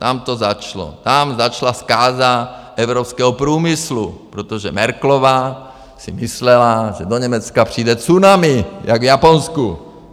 Tam to začalo, tam začala zkáza evropského průmyslu, protože Merkelová si myslela, že do Německa přijde tsunami jako v Japonsku.